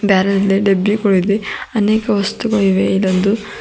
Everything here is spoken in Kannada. ಬ್ಯಾರೆಲ್ದೆ ಡಬ್ಬಿಗೊಳಿದೆ ಅನೇಕ ವಸ್ತುಗಳಿವೆ ಇದೊಂದು--